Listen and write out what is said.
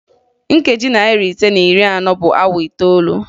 Nkeji narị ise na iri anọ bụ awa itoolu